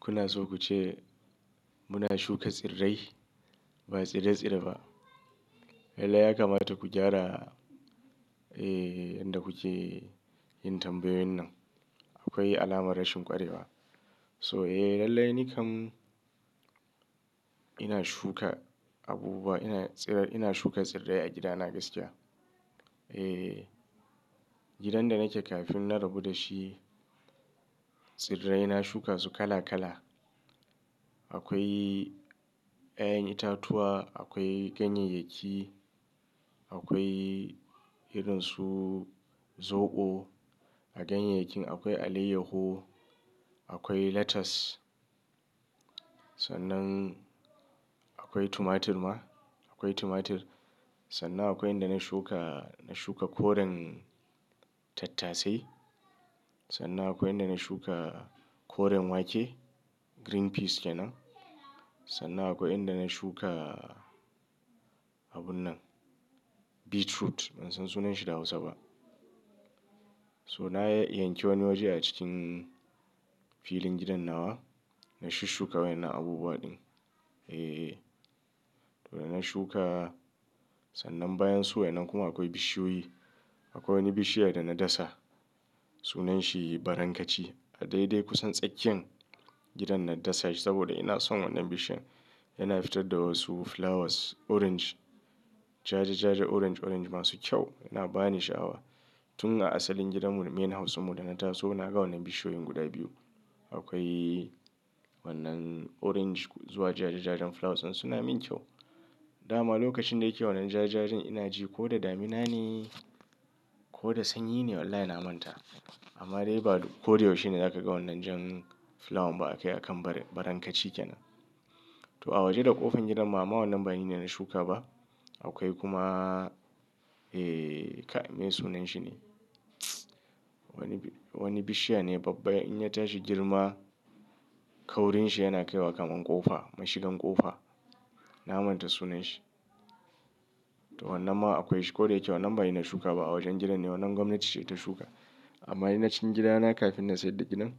Kuna so kuce muna shuka tsirrai ba tsire-tsire ba. Lallai ya kamata ku gyara, eh, ƴanda kuke yin tambayoyin nan. Akwai alamar rashin ƙwarewa. So eh, lallai ni kam ina shuka abubuwa, ina tsirar, ina shuka tsirrai a gidana gaskiya. Eh, gidan da nake kafin na rabu dashi, tsirrai na shuka su kala kala. Aƙwai ƴaƴan itatuwa, aƙwai ganyeyyaki, aƙwai irinsu zoɓo. A ganyeyyakin akwai alayyahu, akwai lettuce. Sannan aƙwai tomatur ma, aƙwai tomatur. Sannan akwai inda na shuka, na shuka koren tattasai. Sannan aƙwai inda na shuka koren wake, green beans kenan. Sannan aƙwai inda na shuka abunnan, beetroot. Bansan sunanshi da Hausa ba. So na yanki wani waje a cikin filin gidan nawa, na shushuka waƴannan abubuwa ɗin. Eh, eh. To ina na shuka. Sannan bayan su waƴannan kuma aƙwai bishiyoyi. Aƙwai wani bishiya dama dasa. Sunanshi barankaci. A daidai kusan tsakiyan gidan na dasa shi saboda inason wannan bishiyan. Yana fitar da wasu flowers orange. Jaja-jaja orange-orange masu kyau, yana bani sha'awa. Tun a asalin gidan mu, main house dinmu dana taso, naga wannan bishiyoyin guda biyu. Aƙwai wannan orange zuwa jaja-jajan flowers ɗin, suna min kyau. Dama lokacin da yake wannan jajajan ina ji koda damina ne koda sanyi ne wallahi na manta. Amma dai ba koda yaushe ne zaka ga wannan jan flower ba a kan baran, barankaci kenan. To a waje da ƙofar gidan ma amma wannan bani ne na shuka ba. Aƙwai kuma, eh, kai me sunanshi ne? Wani bi, wani bishiya ne babba in ya tashi girma kaurin shi yana kai wa kamar ƙofa, mashigan ƙofa. Na manta sunanshi. To wannan ma aƙwai shi koda yake wannan bani na shuka ba a wajen gidan ne wannan gwamnati ce ta shuka. Amma ina cin gidana kafin na sayar da gidan,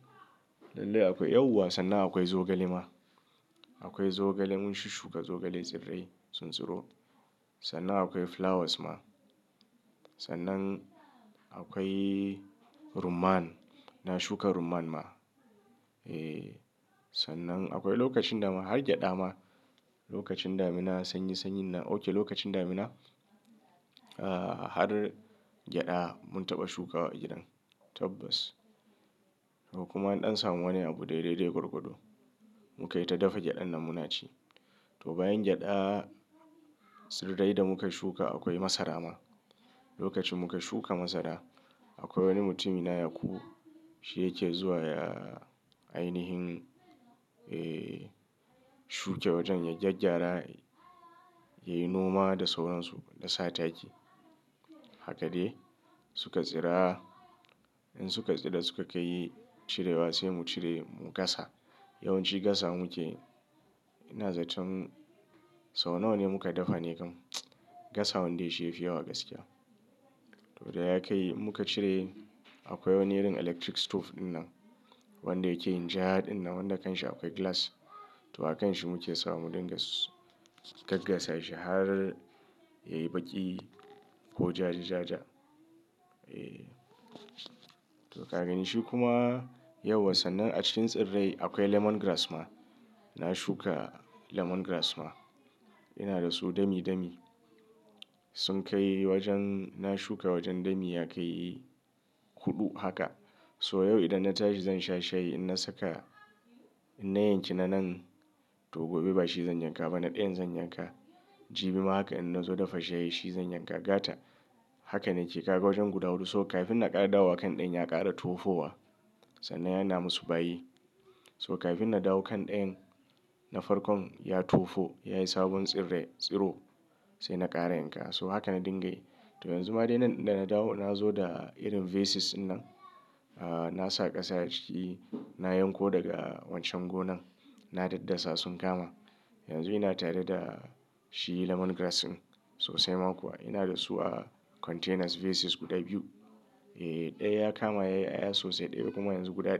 lallai akwai yauwa. Sannan akwai zogale ma. Akwai zogale mun shushuka zogale tsirrai tsuntsuro. Sannan akwai flowers ma. Sannan akwai rumman, na shuka rumman ma. Eh, sannan aƙwai lokacin dama har gyada ma. Lokacin damina sanyi-sanyin nan. Okay, lokacin damina, ah, har gyada mun taɓa shukawa a gidan. Tabbas. To kuma ɗan samu wani abu daidai-daidai gurgudo. Mukai ta dafa gyadan nan muna ci. To bayan gyada tsirrai da muka shuka akwai masara ma. Lokacin muka shuka masara aƙwai wani mutum na yakubu, Shi yake zuwa yayi ainihin, eh, shuke wajen ya gyaggyara yayi noma da sauransu, da sa taki. Haka dai suka tsira. In suka tsira suka kai cirewa sai mu cire mu gasa. Yawanci gasawa muke, ina zaton sau nawa ne muka dafa ne kam? Gasa wande shi yafi yawa gaskiya. To da yakai in muka cire aƙwai wani irin electric stove ɗin nan wanda yake yin ja ɗinnan wanda kanshi aƙwai glass. To akan shi muke sawa mu dinga su--, gaggasashi har yayi ɓaki ko jaja-jaja. Eh. To kagani shi kuma yauwa sannan a cikin tsirrai aƙwai lemongrass ma. Na shuka lemongrass ma. Ina dasu dami dami. Sun kai wajen na shuka wajen dami ya kai hudu haka. To yau idan na tashi zansha shayi idan na saka, idan na yanki na nan to gobe bashi zan yanka ba na ɗayan zan yanka. Jibi ma haka idan in nazo dafa shayi shi zan yanka gata. Haka nake kaga wajen guda huɗu so kafin na ƙara dawowa kan ɗayan ya ƙara tofowa. Sannan yana masu bayi. So kafin na dawo kan ɗayan na farkon ya tofo yayi sabon tsirrai, tsiro sai na ƙara yanka. So haka na dinga yi. To yanzu ma dai nan dana dawo na zo da irin vases ɗin nan. Ah, nasa ƙasa a ciki na yanko daga wancan gonan. Na daddasa sun kama. Yanzu ina tare da shi lemongrass ɗin sosai ma kuwa. Inada su a containers vases guda biyu. Eh, ɗaya ya kama yayi ƴaƴa sosai ɗayan kuma yanzu guda.